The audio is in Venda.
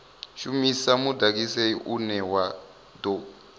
shumisa mudagsai une wa tou